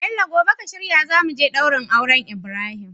Bello gobe ka shirya zamuje daurin auren Ibrahim